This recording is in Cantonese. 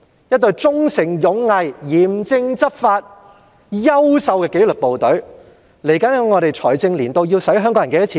一隊忠誠勇毅、嚴正執法及優秀的紀律部隊，在未來的財政年度要花香港人多少錢呢？